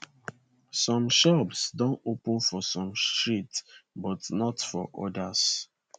some shops don open for some streets but not for odas